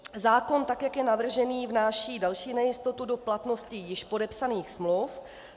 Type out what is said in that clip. Zákon, tak jak je navržený, vnáší další nejistotu do platnosti již podepsaných smluv.